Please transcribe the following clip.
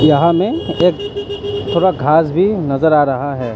यहां में एक थोड़ा घास भी नजर आ रहा है।